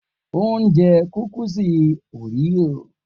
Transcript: O n je kukisi oreo.